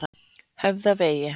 Höfðavegi